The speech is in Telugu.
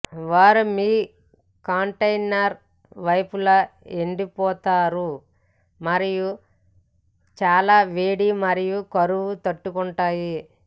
వారు మీ కంటైనర్ వైపులా ఎండిపోతారు మరియు చాలా వేడి మరియు కరువు తట్టుకుంటాయి